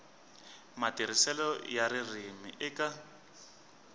matirhiselo ya ririmi eka